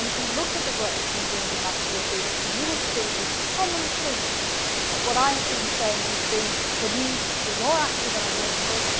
If you look at the work we have been doing in the last two or three months, you will see a common theme in what I have been saying, which has been the need to be more active in our neighbourhood.